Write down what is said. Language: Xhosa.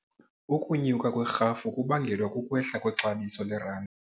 Ukunyuka kwerhafu kubangelwa kukwehla kwexabiso lerandi.